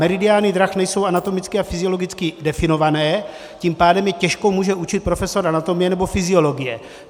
Meridiány drah nejsou anatomicky a fyziologicky definované, tím pádem je těžko může určit profesor anatomie nebo fyziologie.